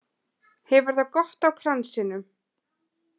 Hefur það gott á kransinum